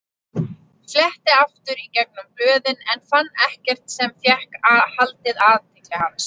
Fletti aftur í gegnum blöðin en fann ekkert sem fékk haldið athygli hans.